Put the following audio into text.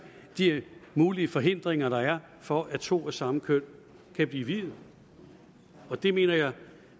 de mulige forhindringer der er for at to af samme køn kan blive viet og det mener jeg